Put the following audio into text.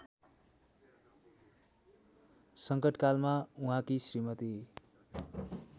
संकटकालमा उहाँकी श्रीमती